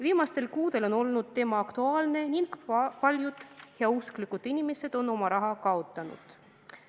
Viimastel kuudel on teema aktuaalne olnud ning paljud heausksed inimesed on oma raha kaotanud.